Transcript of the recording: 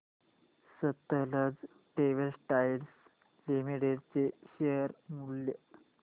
Sutlej textiles limited चे share मूल्य